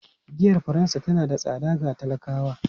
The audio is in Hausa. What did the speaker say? Giyar Faransa tana da tsada ga talakawa.